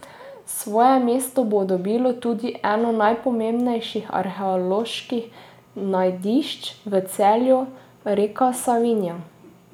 Svoje mesto bo dobilo tudi eno najpomembnejših arheoloških najdišč v Celju, reka Savinja.